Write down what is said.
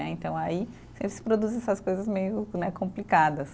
Né, então aí sempre se produzem essas coisas meio né, complicadas.